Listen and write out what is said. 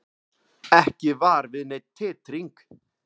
Ekki var við neinn titring